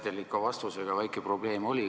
Teil ikka vastusega väike probleem oli.